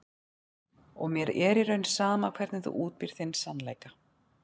Og mér er í raun sama hvernig þú útbýrð þinn sannleika.